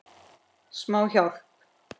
Smá hjálp.